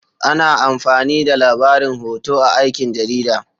Ana amfani da labarin hoto a aikin jarida.